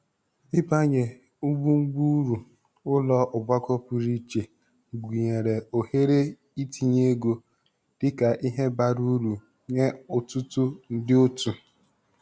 Ịbanye ngwungwu uru ụlọ ọgbakọ pụrụiche, gụnyere ohere itinye ego, dị ka ihe bara uru nye ọtụtụ ndị otu.